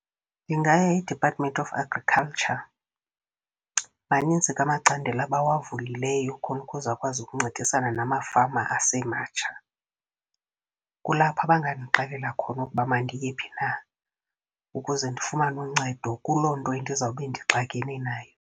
Ndingaya eDepartment of Agriculture, maninzi ke amacandelo abawavulileyo khona ukuze akwazi ukuncedisana namafama asematsha. Kulapho bangandixelela khona ukuba mandiye phi na, ukuze ndifumane uncedo kuloo nto endizawube ndixakene nayo.